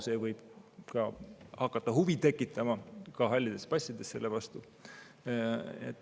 See võib ka halli passi omanikes selle vastu huvi tekitada.